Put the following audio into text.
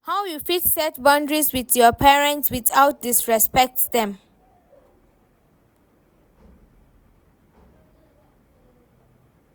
how you fit set boundaries with your parents without disrespect dem?